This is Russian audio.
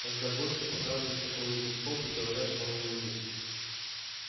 тогда гостю показывают какой нибудь столб и говорят что он знаменитый